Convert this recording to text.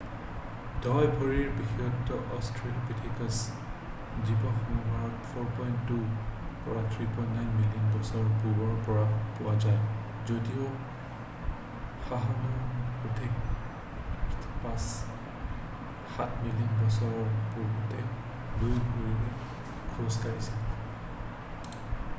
দইভৰিৰ বিশেষতা অষ্ট্ৰেলোপিঠেকাছৰ জীৱাশ্মবোৰত 4.2-3.9 মিলিয়ন বছৰ পূৰ্বৰ পৰা পোৱা যায় যদিও সাহেলাণ্ঠ্ৰোপাছ 7 মিলিয়ন বছৰ পূৰ্বতে 2 ভৰিৰে খোজ কাঢ়িছিল।